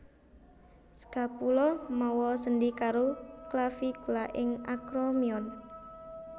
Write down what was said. Scapula mawa sendhi karo clavicula ing acromion